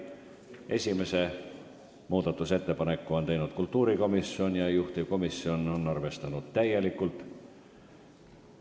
Esimese muudatusettepaneku on teinud kultuurikomisjon ja juhtivkomisjon on seda arvestanud täielikult.